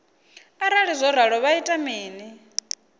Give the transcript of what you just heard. arali zwo ralo vha ita mini